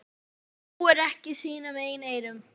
Hún trúir ekki sínum eigin eyrum.